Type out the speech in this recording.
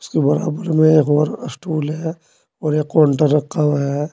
उसके बराबर में एक और अस्टूल है और एक काउंटर रखा हुआ है।